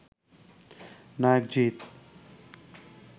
নায়ক জিত